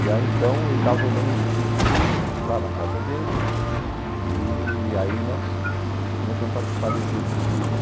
E aí então ele estava formando um grupo de estudos lá na casa dele e aí nós começamos a participar desse grupo de estudo.